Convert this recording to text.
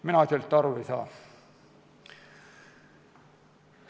Mina sellest aru ei saa.